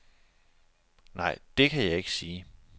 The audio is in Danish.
Nej, det kan jeg ikke sige.